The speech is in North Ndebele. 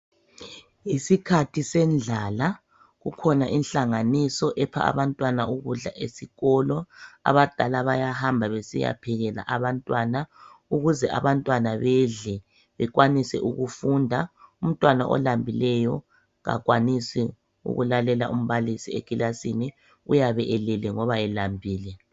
Isikhathi sendlala kukhona inhlanganiso epha abantwana ukudla esikolo. Abadala bayahamba besiyaphekela abantwana ukuze abantwana bedle bekwanise ukufunda umntwana olambileyo kakwanisi ukulalela umbalisi ekilasini. Uyabe elele ngoba elambile.